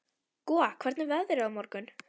Gúa, hvernig er veðrið á morgun?